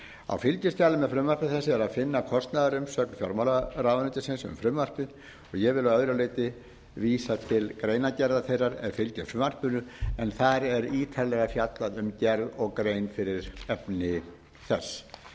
á fylgiskjali með frumvarpi þessu er að finna kostnaðarumsögn fjármálaráðuneytisins um frumvarpið ég vil að öðru leyti vísa til greinargerðar þeirrar er fylgir frumvarpinu en þar er ítarlega fjallað um gerð og grein fyrir efni þess frú